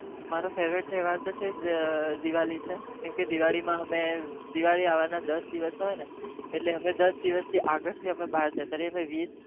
મારો ગમતો તહેવાર દિવાળી છે દિવાળી આવવા ના દસ દિવસ હોય ને એની આગળ અમે બાર જતા રહીએ